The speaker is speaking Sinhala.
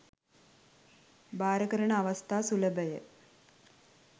භාර කරන අවස්ථා සුලභය.